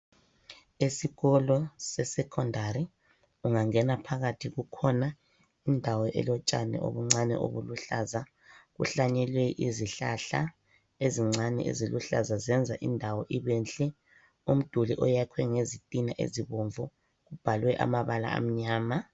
Esikolo se secondary ungangena phakathi kukhona indawo elotshani obuncane obuluhlaza kuhlanyelwe izihlahla ezincane eziluhlazazenza indawo ibenhle. Umduli oyakhwe ngezitina ezibomvu ubhalwe amabala amnyama.